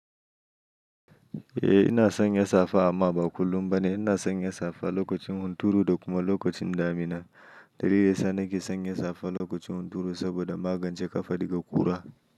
Eh ina son ya safe amma ba kullum ba ne. Ina son ya safe lokacin hunturu da kuma lokacin damina. Dalili ya sa nake son ya safe lokacin hunturu saboda ma gance kafa daga ƙura.